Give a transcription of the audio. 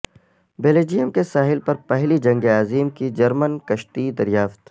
Belgium کے ساحل پر پہلی جنگ عظیم کی جرمن کشتی دریافت